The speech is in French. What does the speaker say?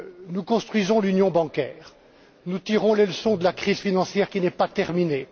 Nous construisons l'union bancaire. Nous tirons les leçons de la crise financière, qui n'est pas terminée.